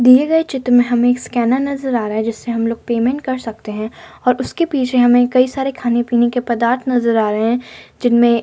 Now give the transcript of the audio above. दिए गए चित् में हमे एक स्कैनर नजर आ रहा है जिससे हमलोग पेमेंट कर सकते हैं और उसके पीछे हमें कई सारे खाने-पीने के पदार्थ नजर आ रहे हैं जिनमें --